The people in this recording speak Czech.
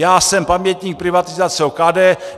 Já jsem pamětník privatizace OKD.